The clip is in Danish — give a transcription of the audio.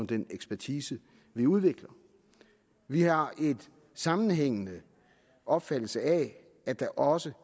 den ekspertise vi udvikler vi har en sammenhængende opfattelse af at der også